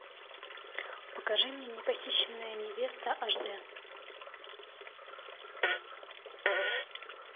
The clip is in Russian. покажи мне не похищенная невеста аш д